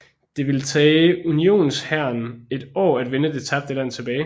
Det ville tage Unionshæren et år at vinde det tabte land tilbage